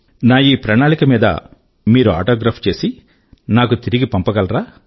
నా ఈ ప్రణాళిక మీద మీరు ఆటోగ్రాఫ్ చేసి నాకు తిరిగి పంపగలరా